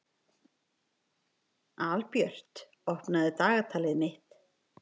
Albjört, opnaðu dagatalið mitt.